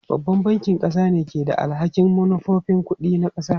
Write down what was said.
Babban bankin ƙasa ne ke da alhakin manufofin kuɗi na ƙasa.